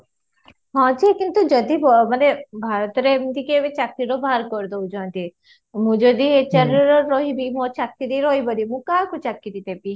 ହଁ ଯେ କିନ୍ତୁ ଯଦି ମାନେ ଭାରତ ରେ ଏମିତି କେଭେ ଚାକିରୀ ରୁ ବାହାର କରି ଦଉଛନ୍ତି, ମୁଁ ଯଦି HR ରେ ରହିବି ମୋ ଚାକିରୀ ରହିବନି ମୁଁ କାହାକୁ ଚାକିରୀ ଦେବି